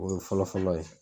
O ye fɔlɔ fɔlɔ ye.